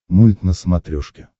мульт на смотрешке